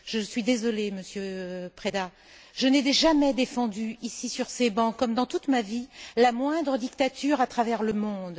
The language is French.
Je suis désolée, Monsieur Preda, je n'ai jamais défendu, ici, sur ces bancs, comme dans toute ma vie, la moindre dictature à travers le monde.